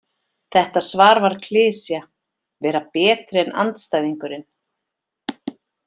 Þetta svar var klisja: Vera betri en andstæðingurinn.